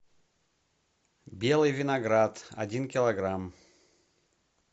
белый виноград один килограмм